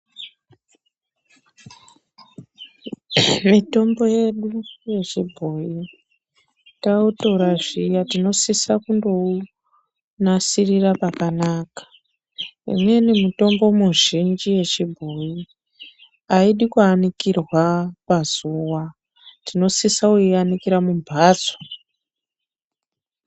Mitombo yedu yechibhoyi tautorashira .Tinosisa kundounasirira pakanaka. Inini mutombo mizhinji yechibhoyi ,aidi kuanikira pazuwa ,tinosisa kuianikira mumbatso.